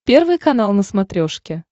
первый канал на смотрешке